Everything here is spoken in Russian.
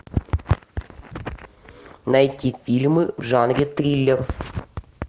найти фильмы в жанре триллер